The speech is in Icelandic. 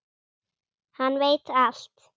Hann veit allt!